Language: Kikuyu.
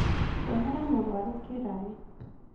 Rehere mũrwaru kĩraĩ